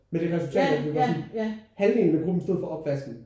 Med det resultat at det var sådan halvdelen af gruppen stod for opvasken